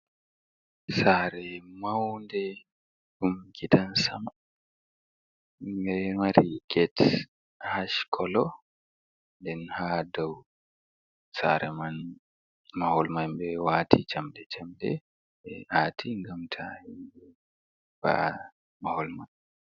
Sare maunde ɗum gidan sama, ɗo mari get ash kolo, den ha dau sare mahol man ɓe wati jamɗe jamɗe ɓe ati ngam ta himɓɓe va'a mahol man.